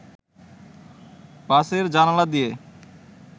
বাসের জানালা দিয়ে